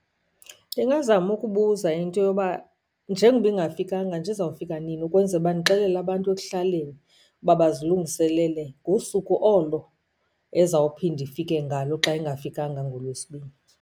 Ndingazama ukubuza into yoba njengoba ingafikanga nje izawufika nini, ukwenzela uba ndixelele abantu ekuhlaleni uba bazilungiselele ngosuku olo ezawuphinda ifike ngalo xa ingafikanga ngoLwesibini.